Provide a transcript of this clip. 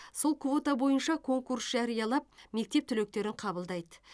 сол квота бойынша конкурс жариялап мектеп түлектерін қабылдайды